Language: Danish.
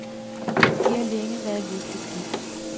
De har længe været lykkeligt gift .